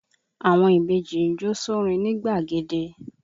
Àwọn ìbejì ń jó sórin nigbàgede